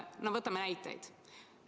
Toon näiteid.